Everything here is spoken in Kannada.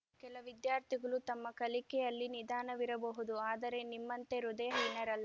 ಕೆಲ ವಿದ್ಯಾರ್ಥಿಗಳು ತಮ್ಮ ಕಲಿಕೆಯಲ್ಲಿ ನಿಧಾನವಿರಬಹುದು ಆದರೆ ನಿಮ್ಮಂತೆ ಹೃದಯ ಹೀನರಲ್ಲ